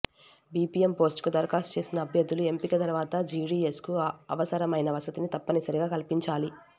BPM పోస్టుకు దరఖాస్తు చేసిన అభ్యర్థులు ఎంపిక తర్వాత జీడీఎస్కు అవసరమైన వసతిని తప్పనిసరిగా కల్పించాలి